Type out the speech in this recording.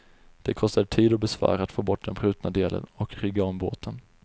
Det kostade tid och besvär att få bort den brutna delen och rigga om båten.